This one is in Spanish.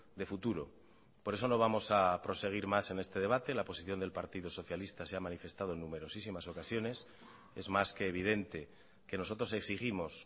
de futuro por eso no vamos a proseguir más en este debate la posición del partido socialista se ha manifestado en numerosísimas ocasiones es más que evidente que nosotros exigimos